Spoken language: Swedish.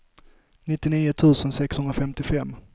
nittionio tusen sexhundrafemtiofem